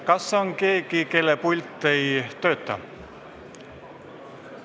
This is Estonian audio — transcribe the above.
Kas on keegi, kelle pult ei tööta?